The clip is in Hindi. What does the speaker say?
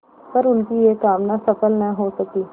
पर उनकी यह कामना सफल न हो सकी